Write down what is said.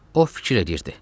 O fikir eləyirdi.